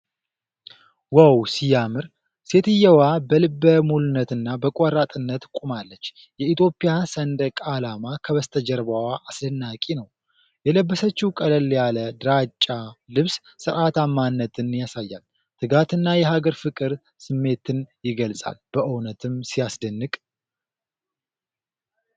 ዋው ሲያምር! ሴትየዋ በልበ ሙሉነትና በቆራጥነት ቆማለች። የኢትዮጵያ ሰንደቅ ዓላማ ከበስተጀርባዋ አስደናቂ ነው። የለበሰችው ቀለል ያለ ድራጫ ልብስ ሥርዓታማነትን ያሳያል። ትጋትና የሀገር ፍቅር ስሜትን ይገልጻል። በእውነትም ሲያስደንቅ!